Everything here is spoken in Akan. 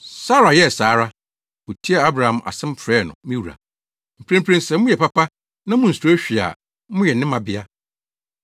Sara yɛɛ saa ara. Otiee Abraham asɛm frɛɛ no “Me wura.” Mprempren sɛ moyɛ papa na munsuro hwee a moyɛ ne mmabea.